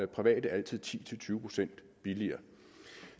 private altid ti til tyve procent billigere